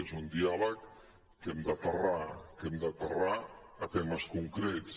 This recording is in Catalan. és un diàleg que hem d’aterrar que hem d’aterrar a temes concrets